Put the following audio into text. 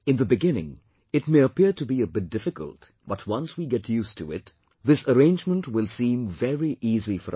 In the beginning it may appear to be a bit difficult, but once we get used to it, then this arrangement will seem very easy for us